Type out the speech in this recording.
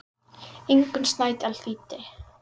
Ingunn Snædal þýddi.